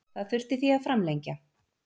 Það þurfti því að framlengja.